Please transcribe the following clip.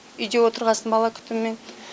үйде отырғасын бала күтімімен